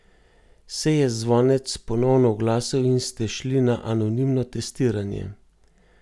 Se je zvonec ponovno oglasil in ste šli na anonimno testiranje?